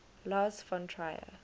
lars von trier